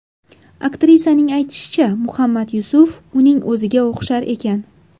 Aktrisaning aytishicha, Muhammad Yusuf uning o‘ziga o‘xshar ekan.